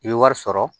I bɛ wari sɔrɔ